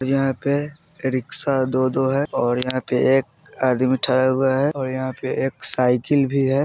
यहाँ पे रिक्शा दो-दो है और यहाँ पे एक आदमी ठरा हुआ है और यहाँ पे एक साइकिल भी है।